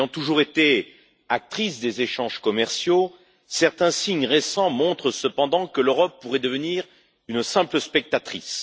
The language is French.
Bien qu'elle ait toujours été actrice des échanges commerciaux, certains signes récents montrent cependant que l'Europe pourrait devenir simple spectatrice.